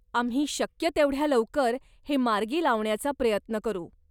आम्ही शक्य तेवढ्या लवकर हे मार्गी लावण्याचा प्रयत्न करू.